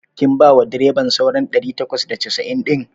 Kin bawa direban sauran ɗari takwas da casa'in ɗin?